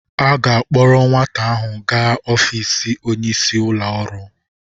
A ga-akpọrọ nwata ahụ gaa ọfiisi onyeisi ụlọ ọrụ.